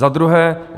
Za druhé.